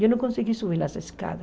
Eu não consegui subir as escadas.